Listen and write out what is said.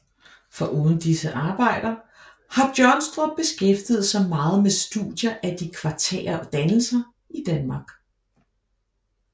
Foruden disse arbejder har Johnstrup beskæftiget sig meget med studier af de kvartære dannelser i Danmark